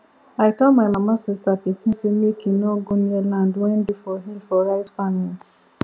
i tell my mama sista pikin say make e nor go near land wen dey for hill for rice farming